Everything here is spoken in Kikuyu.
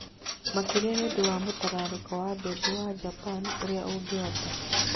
Makĩria nĩ ũndũ wa mũtararĩko wa mbembe wa Japan ũrĩa ũngĩhota